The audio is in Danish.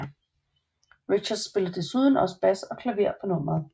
Richards spillede desuden også bass og klaver på nummeret